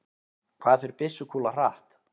hvað fer byssukúla hratt